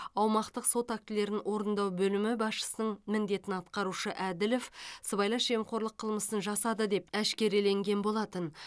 аумақтық сот актілерін орындау бөлімі басшысының міндетін атқарушы әділов сыбайлас жемқорлық қылмысын жасады деп әшкереленген болатын